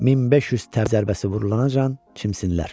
1500 təb zərbəsi vurulancan çimsinlər.